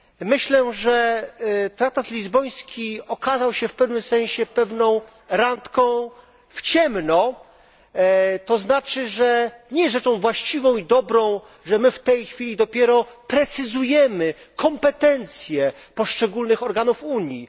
Myślę, że traktat lizboński okazał się w pewnym sensie pewną randką w ciemno, co znaczy, że nie jest rzeczą właściwą i dobrą, że my w tej chwili dopiero precyzujemy kompetencje poszczególnych organów Unii.